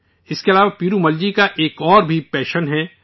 اس کے علاوہ پیرومل جی کا ایک اور بھی جنون ہے